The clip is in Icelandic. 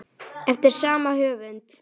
Eftir sama höfund